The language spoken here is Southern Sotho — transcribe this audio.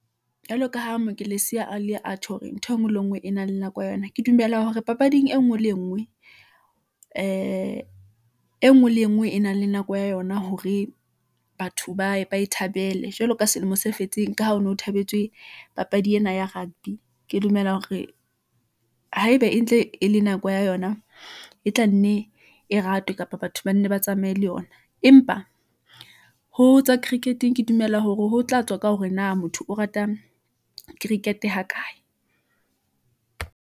Jwalo ka ho mo ke lesiya a le atjhe hore ntho engwe le ngwe e nang le nako ya yona, ke dumela hore papading e nngwe le e nngwe , ee e nngwe le e nngwe e nang le nako ya yona, hore batho baye ba e thabele, jwalo ka selemo se fetseng, ka ha ho no ho thabetswe papadi ena ya rugby. Ke dumela hore haeba e ntle e le nako ya yona , e tla nne e ratwe, kapa batho banne ba tsamaye le yona . Empa ho tsa cricket-eng, ke dumela hore ho tla tswa ka hore na motho o rata cricket ha kae.